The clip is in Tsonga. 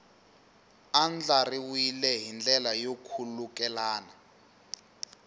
andlariwile hi ndlela yo khulukelana